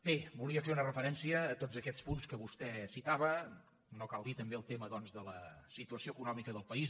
bé volia fer una referència a tots aquests punts que vostè citava no cal dir també el tema doncs de la situació econòmica del país